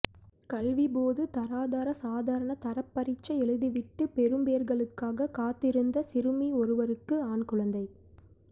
கல்விப்பொது தராதர சாதாரண தர பரீட்சை எழுதிவிட்டு பெறுபேறுகளுக்காக காத்திருந்த சிறுமி ஒருவருக்கு ஆண் குழந்தை